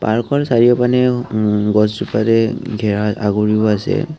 পাৰ্কখন চাৰিও পিনেও উ ম্ গছজোপাৰে ঘেৰা আগুৰিয়া আছে।